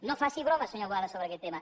no faci bromes senyor boada sobre aquest tema